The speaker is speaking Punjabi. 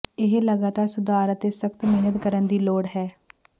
ਇਹ ਲਗਾਤਾਰ ਸੁਧਾਰ ਅਤੇ ਸਖ਼ਤ ਮਿਹਨਤ ਕਰਨ ਦੀ ਲੋੜ ਹੈ